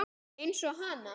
Eins og hana.